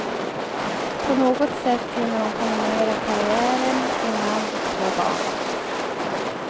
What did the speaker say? På något sätt hinner hon kombinera karriären med man och två barn.